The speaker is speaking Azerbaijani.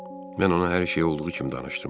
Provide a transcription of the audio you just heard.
Mən ona hər şeyi olduğu kimi danışdım.